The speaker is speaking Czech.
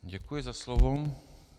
Děkuji za slovo.